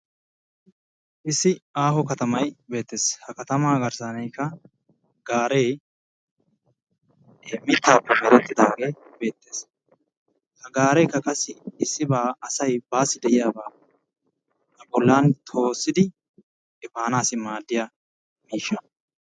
Issi aaho katamay beettees. ha katamaa garssankka gaare mittappe meretidaage beetees. ha garekka qassi issiba baayyo de'iyaaba toossidi efanassi maaddiyaa miishsha.